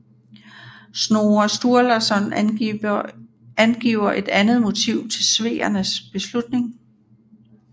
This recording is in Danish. Snorre Sturlasson angiver et andet motiv til sveernes beslutning